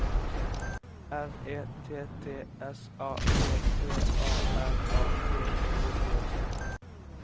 R E T T S A P P A R A T E T